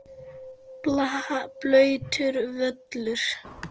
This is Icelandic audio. Blautur völlur.